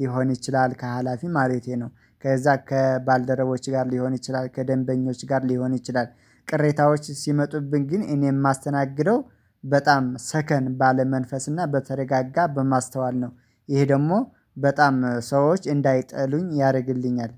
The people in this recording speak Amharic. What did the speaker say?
ሊሆን ይችላል ከሀላፊ ማለት ነው ከዛ ከባልደረቦች ጋር ሊሆን ይችላል ከደንበኞች ጋር ሊሆን ይችላል። ቅሬታዎች ሲመጡብን ግን እኔ የማስተናግደው በጣም ሰከን ባለ መንፈስ እና በተረጋጋ በማስተዋል ነው። ይሄ ደግሞ በጣም ሰዎች እንዳይጠሉኝ ያደርግልኛል